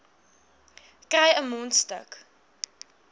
kry n mondstuk